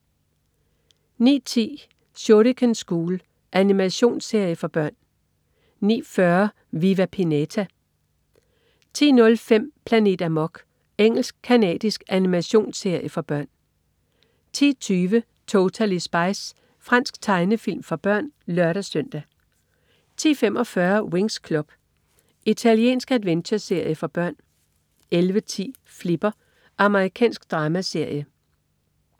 09.10 Shuriken School. Animationsserie for børn 09.40 Viva Pinata 10.05 Planet Amok. Engelsk-canadisk animationsserie for børn 10.20 Totally Spies. Fransk tegnefilm for børn (lør-søn) 10.45 Winx Club. Italiensk adventureserie for børn 11.10 Flipper. Amerikansk dramaserie